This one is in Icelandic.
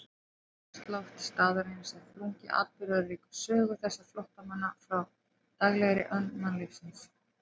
Andrúmsloft staðarins er þrungið atburðaríkri sögu þessara flóttamanna frá daglegri önn mannlífsins.